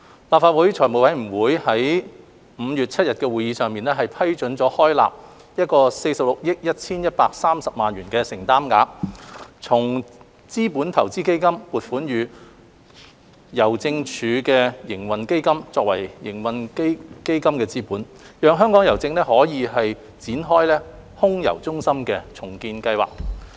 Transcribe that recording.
立法會財務委員會於5月7日的會議上批准開立46億 1,130 萬元的承擔額，從資本投資基金撥款予郵政署營運基金作為營運基金資本，讓香港郵政可以展開空郵中心的重建計劃。